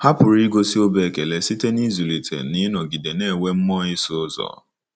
Ha pụrụ igosi obi ekele site n'ịzụlite na ịnọgide na-enwe mmụọ ịsụ ụzọ.